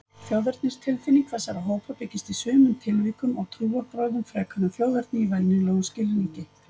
Þjóðernistilfinning þessara hópa byggist í sumum tilvikum á trúarbrögðum frekar en þjóðerni í venjulegum skilningi.